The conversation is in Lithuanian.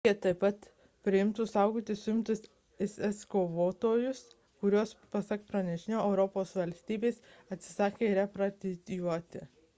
turkija taip pat priimtų saugoti suimtus isis kovotojus kuriuos pasak pranešimo europos valstybės atsisakė repatrijuoti